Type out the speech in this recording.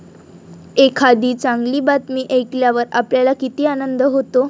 एखादी चांगली बातमी ऐकल्यावर आपल्याला किती आनंद होतो!